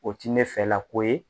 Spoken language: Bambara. O ti ne fɛlako ye.